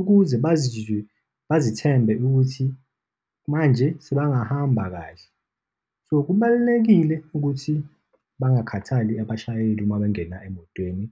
ukuze bazizwe bazithembe ukuthi manje sebengahamba kahle. So, kubalulekile ukuthi bangakhathali abashayeli uma bengena emotweni.